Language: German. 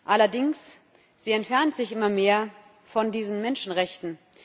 Allerdings entfernt sie sich immer mehr von diesen Menschenrechten.